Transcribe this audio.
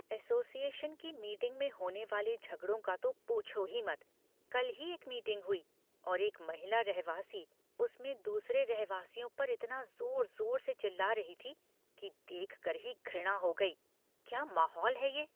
Association की meeting में होने वाले झगड़ों का तो पूछो ही मत। कल ही एक मीटिंग हुई और एक महिला रहवासी उसमें दूसरों रहवासियों पर इतना जोर जोर से चिल्ला रही थी कि देखकर ही घृणा हो गई, क्या माहौल है ये!